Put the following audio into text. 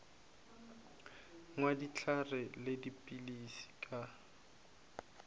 nwa dihlare le dipilisi ka